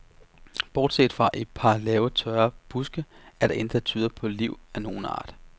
Bortset fra et par lave tørre buske er der intet der tyder på liv af nogen art.